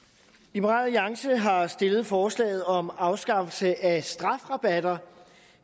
liberal alliance har stillet forslaget om afskaffelse af strafrabatter